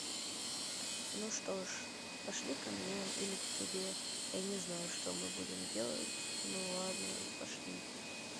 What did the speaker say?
ну что же пошли ко мне или к тебе я не знаю что мы будем делать ну ладно пошли